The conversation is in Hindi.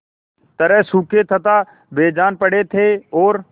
तरह सूखे तथा बेजान पड़े थे और